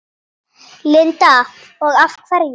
Linda: Og af hverju?